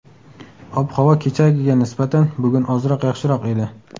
Ob-havo kechagiga nisbatan bugun ozroq yaxshiroq edi.